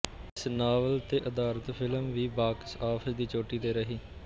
ਇਸ ਨਾਵਲ ਤੇ ਅਧਾਰਿਤ ਫਿਲਮ ਵੀ ਬਾਕਸ ਆਫਿਸ ਦੀ ਚੋਟੀ ਤੇ ਰਹੀ